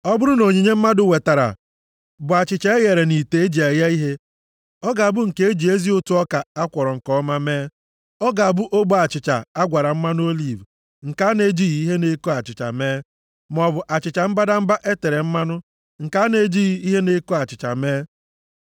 “ ‘Ọ bụrụ na onyinye mmadụ wetara bụ achịcha eghere nʼite e ji eghe ihe, ọ ga-abụ nke e ji ezi ụtụ ọka a kwọrọ nke ọma mee. Ọ ga-abụ ogbe achịcha agwara mmanụ oliv nke a na-ejighị ihe na-eko achịcha + 2:4 Ihe na-eko achịcha Ọ bụ naanị nʼoge aja udo na mmemme izu asaa, ka a na-etinye ihe na-eko achịcha nʼụtụ ọka a na-eweta. \+xt Lev 7:13; 23:17\+xt* mee, maọbụ achịcha mbadamba e tere mmanụ nke a na-ejighị ihe na-eko achịcha mee.